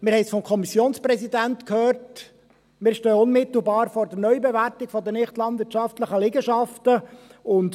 Wir haben es vom Kommissionspräsidenten gehört, dass wir unmittelbar vor der Neubewertung der nichtlandwirtschaftlichen Liegenschaften stehen.